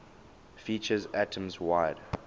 features atoms wide